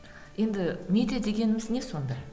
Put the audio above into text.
енді медиа дегеніміз не сонда